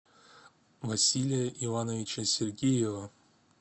василия ивановича сергеева